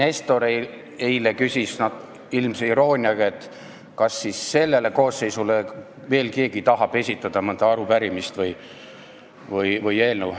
Härra Eiki Nestor küsis eile ilmse irooniaga, kas keegi tahab veel sellele koosseisule esitada mõnda arupärimist või eelnõu.